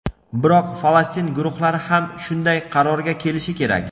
biroq Falastin guruhlari ham shunday qarorga kelishi kerak.